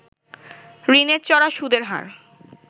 ঋণের চড়া সুদের হার